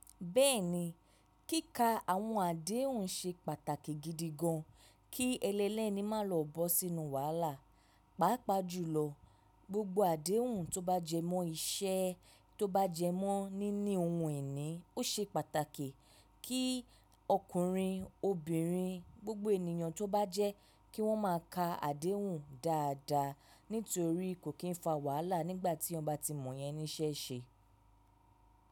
Bẹ́ẹ̀ni, kíkà àwọn àdéhùn ṣe pàtàkì gidi gan, kí ẹnilẹni má lọ bọ́ sínú wàhálà. Pàápàá jùlọ, gbogbo àdéhùn tó bá jẹmọ́ iṣẹ́, tó bá jẹmọ́ níní ohun ìní, ó ṣe pàtàkì kí ọkùnrin, obìnrin, gbogbo ènìyàn tó bá jẹ́ kí wọ́n má a ka àdéhùn dáadáa. Nítorí kò kí ń fa wàhálà nígbà tí èèyàn ba tí mọ̀ yẹn níṣẹ́ ṣe.